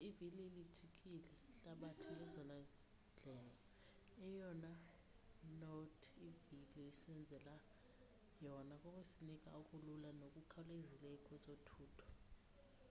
ivili lilijikile ihlabathi ngezona ndlela eyona not ivili lisenzele yona kukusinika okulula nokukhawulezileyo kwezothutho